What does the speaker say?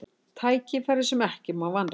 Tækifæri sem ekki má vanrækja